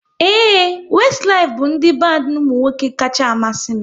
Ee, Westilif bụ ndị bandi ụmụnwoke kacha amasị m